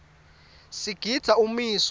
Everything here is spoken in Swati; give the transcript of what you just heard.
sigidza umiso